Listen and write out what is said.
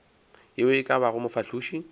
ye e ka bago mofahloši